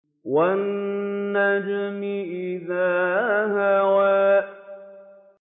وَالنَّجْمِ إِذَا هَوَىٰ